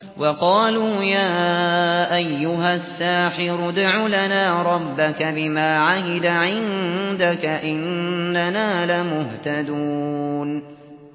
وَقَالُوا يَا أَيُّهَ السَّاحِرُ ادْعُ لَنَا رَبَّكَ بِمَا عَهِدَ عِندَكَ إِنَّنَا لَمُهْتَدُونَ